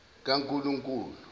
kankulunkulu